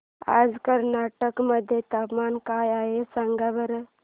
आज कर्नाटक मध्ये तापमान काय आहे सांगा बरं